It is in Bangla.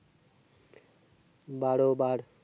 বারো বার